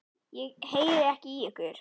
Ég heyri ekki í ykkur.